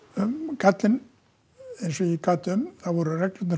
gallinn eins og ég gat um voru að reglurnar